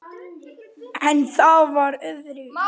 En það var öðru nær!